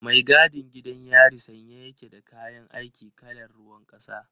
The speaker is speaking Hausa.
Mai gadin gidan yari sanye ya ke da kayan aiki kalar ruwan kasa.